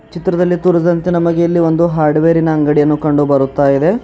ಚಿತ್ರದಲ್ಲಿ ತೋರಿಸಿದಂತೆ ನಮಗೆ ಎಲ್ಲಿ ಒಂದು ಹಾಡುವೇರಿ ನ ಅಂಗಡಿಯನ್ನು ಕಂಡು ಬರುತ್ತಾ ಇದೆ.